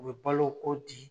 U be balo o di